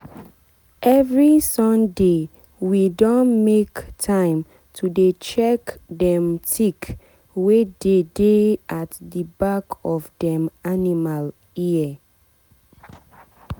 every sundaywe don make time to dey check dem tick wey dey dey at the back of dem animal ear.